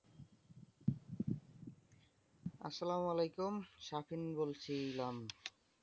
আসসালাম ওয়ালাইকুম স্বাধীন বলছিলাম।